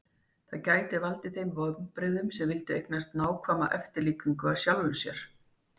það gæti valdið þeim vonbrigðum sem vildu eignast nákvæma eftirlíkingu af sjálfum sér